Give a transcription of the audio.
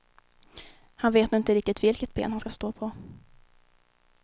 Han vet nog inte riktigt vilket ben han ska stå på.